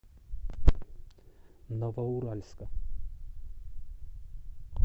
новоуральска